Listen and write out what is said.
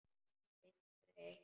Finnst þau eitt.